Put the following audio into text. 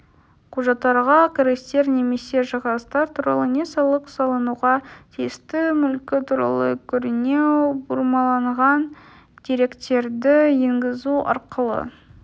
құжаттарға кірістер немесе шығыстар туралы не салық салынуға тиісті мүлкі туралы көрінеу бұрмаланған деректерді енгізу арқылы